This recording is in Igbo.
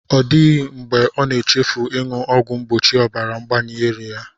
Ọ dịghị mgbe ọ na-echefu ịṅụ ọgwụ mgbochi ọbara ngbayi ya